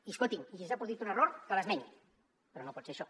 i escolti’m si s’ha produït un error que l’esmeni però no pot ser això